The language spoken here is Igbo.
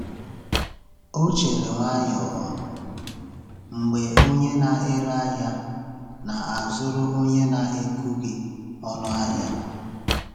Ọ chere nwayọọ mgbe onye na-ere ahịa na-azụrụ onye na-ekwughị ọnụ ahịa.